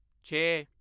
ਛੇ